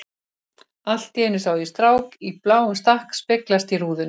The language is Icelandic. Allt í einu sá ég strák í bláum stakk speglast í rúðunni.